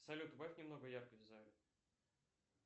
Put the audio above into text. салют убавь немного яркость в зале